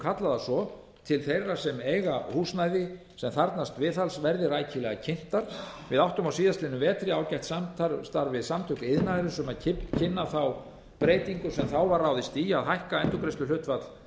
kallað það svo til þeirra sem eiga húsnæði sem þarfnast viðhalds verði rækilega kynntar við áttum á síðastliðnum vetri ágætt samstarf við samtök iðnaðarins um að kynna breytingu sem þá var ráðist í að hækka endurgreiðsluhlutfall